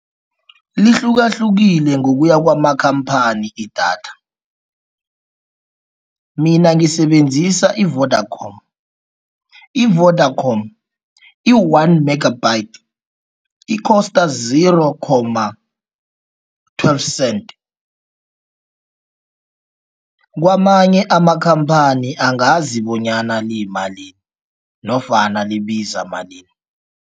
Lihlukahlukile ngokuya kwamakhamphani idatha, mina ngisebenzisa i-Vodacom. I-Vodacom, i-one megabytes i-cost zero comma twelve cent. Kwamanye amakhamphani angazi bonyana liyimalini nofana libiza malini.